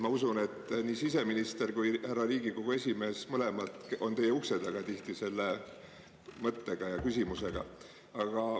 Ma usun, et nii siseminister kui härra Riigikogu esimees mõlemad on teie ukse taga tihti selle mõttega ja küsimusega.